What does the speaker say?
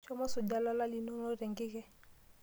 Shomo isuja ilala linonok te nkike.